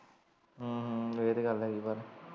ਹਮ ਹਮ ਇਹ ਤਾਂ ਗੱਲ ਹੈ ਗੀ ਪਰ।